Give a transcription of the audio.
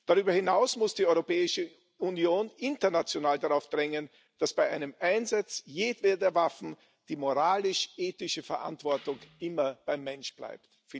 Darüber hinaus muss die Europäische Union international darauf drängen, dass bei einem Einsatz jedweder Waffen die moralisch ethische Verantwortung immer beim Menschen bleibt.